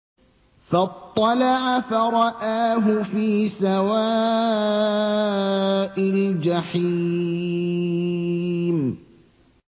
فَاطَّلَعَ فَرَآهُ فِي سَوَاءِ الْجَحِيمِ